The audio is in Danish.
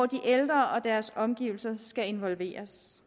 de ældre og deres omgivelser skal involveres